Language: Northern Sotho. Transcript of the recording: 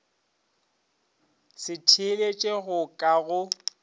se theeletše go ka go